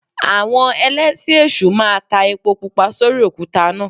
Àwọn Ẹlẹ́sìn èṣù máa ta epo Pupa sórí òkúta náà.